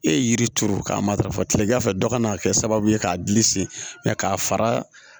E ye yiri turu k'a matarafa kilegan fɛ dɔ kana kɛ sababu ye k'a gili sen k'a fara